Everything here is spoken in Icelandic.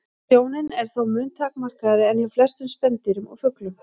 Sjónin er þó mun takmarkaðri en hjá flestum spendýrum og fuglum.